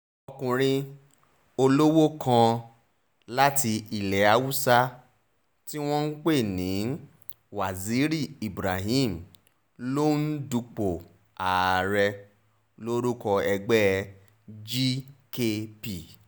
ọkùnrin olówó kan láti ilẹ̀ haúsá tí wọ́n ń pè ní waziri ibrahim ló ń dupò ààrẹ lórúkọ ẹgbẹ́ gkp